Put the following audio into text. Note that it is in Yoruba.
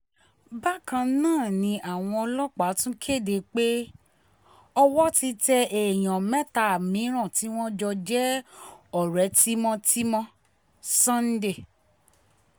bákan náà ni àwọn ọlọ́pàá tún kéde pé owó ti tẹ èèyàn mẹ́ta mìíràn tí wọ́n jẹ́ ọ̀rẹ́ tímọ́-tímọ́ sunday